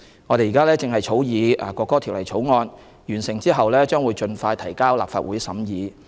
我們正在草擬《國歌條例草案》，完成後將盡快提交立法會審議。